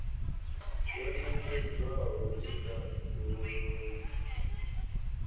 yo ṋetshedzwaho i sa dovhololi